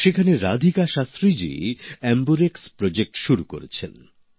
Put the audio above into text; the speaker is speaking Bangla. সেখানে রাধিকা শাস্ত্রী জি এম্বুরেক্স প্রকল্প শুরু করেছেন